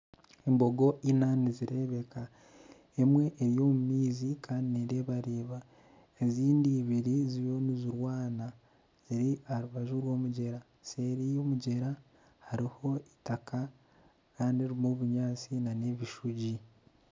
Embogo ina nizireebeka emwe eri omu maizi kandi nereebareeba zindi ibiri ziriyo nizirwana ei aha rubaju rw'omugyera. Seeri y'omugyera hariho eitaka kandi ririmu obunyaatsi nana ebishugi.